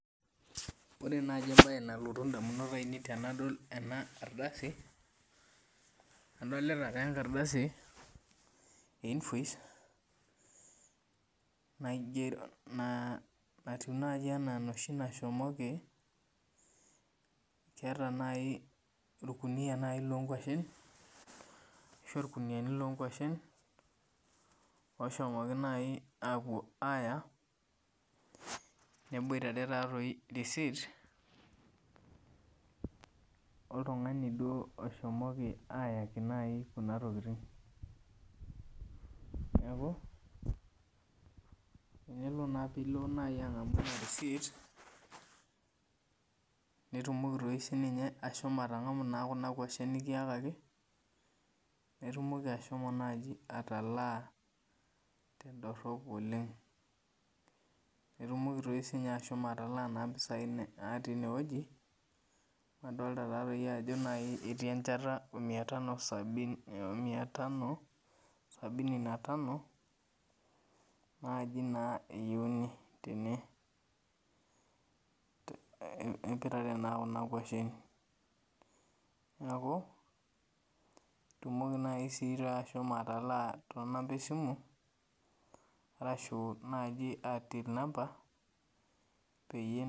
Ore naaji embaye nalotu indamunot ainei tenadol ena ardasi adolita taa enkardasi e invoice naigero natiu naaji enaa enoshi nashomoki keeta naaji orkunia naaji lonkuashen ashu orkuniani lonkuashen oshomoki naaji apuo aaya neboitare taatoi receipt oltung'ani duo oshomoki ayaki naaji kuna tokiting niaku enelo naa piilo naaji ang'amu ena receipt nitumoki toi sininye ashomo atang'amu naa kuna kuashen nikiyakaki naitumoki ashomo naaji atalaa tendorrop oleng etumoki toi sinye ashomo atalaa naa mpisai natii inewueji amu adolta taatoi ajo naaji etii enchata o mia tano sabini,o mia ta sabini na tano naaji naa eyieuni tene te eipirare naa kuna kuashen niaku itumoki naaji sii ashomo atalaa tonampa esimu arashu naaji till number peyie.